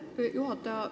Aitäh, juhataja!